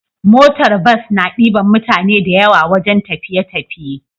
Motar bus na diban mutane da yawa wajan tafiye tafiye